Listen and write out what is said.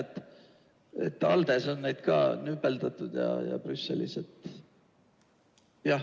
Ma tean, et ALDE-s on neid nüpeldatud ja Brüsselis ka.